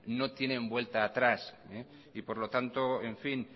no tienen vuelta atrás y por lo tanto en fin